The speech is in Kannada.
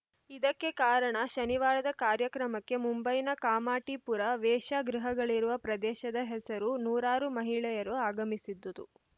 ಇದಕ್ಕೆ ಕಾರಣ ಶನಿವಾರದ ಕಾರ್ಯಕ್ರಮಕ್ಕೆ ಮುಂಬೈನ ಕಾಮಾಟಿಪುರ ವೇಶ್ಯಾಗೃಹಗಳಿರುವ ಪ್ರದೇಶದ ಹೆಸರುದ ನೂರಾರು ಮಹಿಳೆಯರು ಆಗಮಿಸಿದ್ದುದು